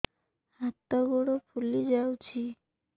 ହାତ ଗୋଡ଼ ଫୁଲି ଯାଉଛି